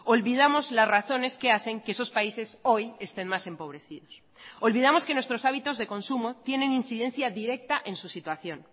olvidamos las razones que hacen que esos países hoy estén más empobrecidos olvidamos que nuestros hábitos de consumo tienen incidencia directa en su situación